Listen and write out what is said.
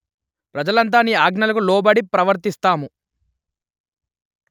ప్రజలంతా నీ ఆజ్ఞలకు లోబడి ప్రవర్తిస్తాము